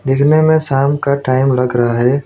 देखने में शाम का टाइम लग रहा है।